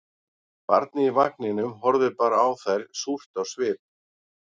Barnið í vagninum horfði bara á þær súrt á svip